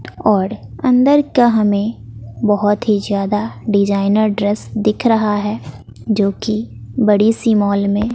और अंदर का हमें बहोत ही ज्यादा डिजाइनर ड्रेस दिख रहा है जो की बड़ी सी मॉल में--